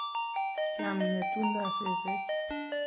kiam ngetungdo seset